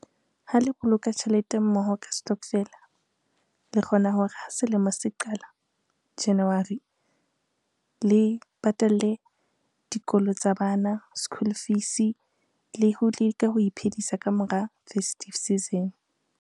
Ha le boloka tjhelete mmoho ka stokvel-a, le kgona hore ha selemo se qala January le patalle dikolo tsa bana school fees le ho lika ho iphedisa ka mora festive season.